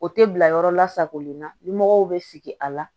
O tɛ bila yɔrɔ la sagolen na ɲɛmɔgɔw bɛ sigi a la